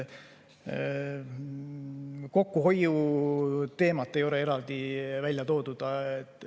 Kokkuhoiuteemat ei ole eraldi välja toodud.